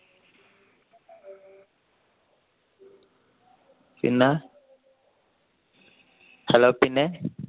പിന്നെ hello പിന്നെ